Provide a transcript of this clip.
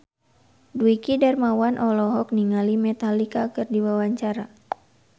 Dwiki Darmawan olohok ningali Metallica keur diwawancara